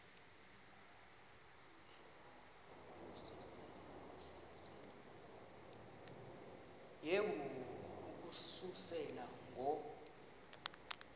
yehu ukususela ngo